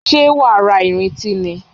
Ṣé wàá ra ìrintí ni?